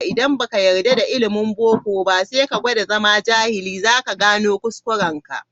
Idan ba ka yarda da ilimin boko ba, sai ka gwada zama jahili, za ka gane kuskurenka.